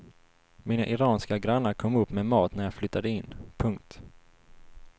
Mina iranska grannar kom upp med mat när jag flyttade in. punkt